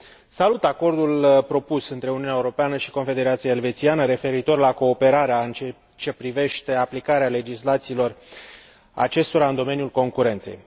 Salut Acordul propus între Uniunea Europeană și Confederația Elvețiană referitor la cooperarea în ceea ce privește aplicarea legislațiilor acestora în domeniul concurenței.